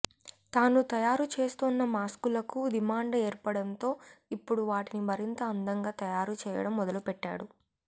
తాను తయారు చేస్తోన్న మాస్కులకు డిమాండ్ ఏర్పడంతో ఇప్పుడు వాటిని మరింత అందంగా తయారు చేయడం మొదలుపెట్టాడు